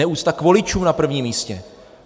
Neúcta k voličům na prvním místě.